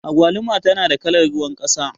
Agwaluma tana da kalar ruwan ƙasa.